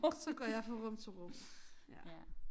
Så går jeg fra rum til rum ja